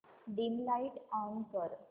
dim light on कर